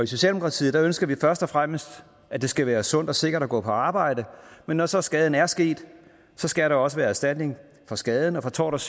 socialdemokratiet ønsker vi først og fremmest at det skal være sundt og sikkert at gå på arbejde men når så skaden er sket skal der også være erstatning for skaden og for tort